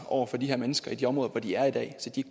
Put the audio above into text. over for de her mennesker i de områder hvor de er i dag så de